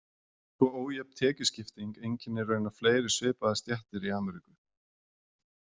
Svo ójöfn tekjuskipting einkennir raunar fleiri svipaðar stéttir í Ameríku.